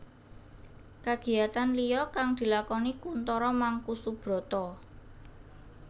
Kagiyatan liya kang dilakoni Kuntoro Mangkusubroto